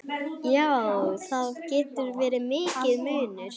Já, það getur verið mikill munur.